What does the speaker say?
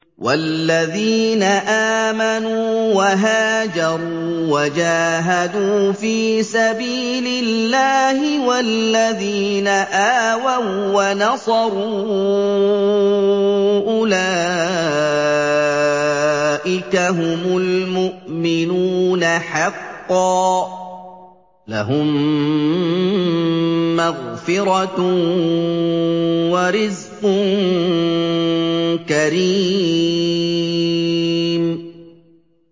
وَالَّذِينَ آمَنُوا وَهَاجَرُوا وَجَاهَدُوا فِي سَبِيلِ اللَّهِ وَالَّذِينَ آوَوا وَّنَصَرُوا أُولَٰئِكَ هُمُ الْمُؤْمِنُونَ حَقًّا ۚ لَّهُم مَّغْفِرَةٌ وَرِزْقٌ كَرِيمٌ